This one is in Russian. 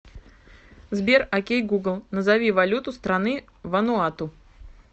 сбер окей гугл назови валюту страны вануату